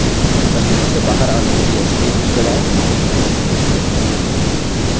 प्रस्तुति से बाहर आने के लिए escape की दबाएँ